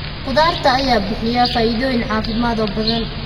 Khudaarta ayaa bixiya faa'iidooyin caafimaad oo badan.